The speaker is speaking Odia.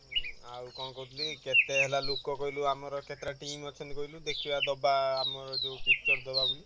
ହଁ ଆଉ କଣ କହୁଥିଲି କେତେ ହେଲା ଲୋକ କହିଲୁ ଆମର କେତେଟା team ଅଛନ୍ତି କହିଲୁ ଦେଖିବା ଦବା ଆମର ଯୋଉ picture ଦବା ବୋଲି?